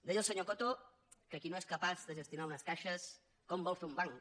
deia el senyor coto que qui no és capaç de gestionar unes caixes com vol fer un banc